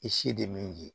I si tɛ min ye